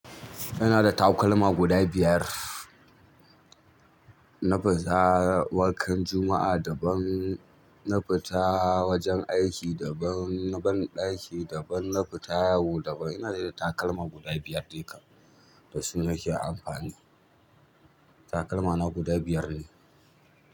Inada takalma guda biyar na fita wankan juma'a daban, nafita wajen aiki daban, banɗaki daban na fita yawo daban ina da takalma guda biyar dai kam da suna ke amfani. Takalma na guda biyar ne.